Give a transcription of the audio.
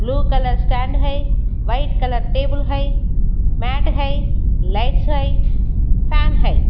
Blue colour stand हैं white colour table हैं mat हैं लाइट्स हैं फैन हैं।